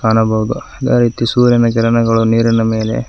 ಕಾಣಬಹುದು ಅದ ರೀತಿ ಸೂರ್ಯನ ಕಿರಣಗಳು ನೀರಿನ ಮೇಲೆ--